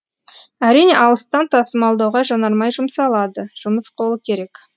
әрине алыстан тасымалдауға жанармай жұмсалады жұмыс қолы керек